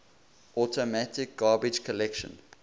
automatic garbage collection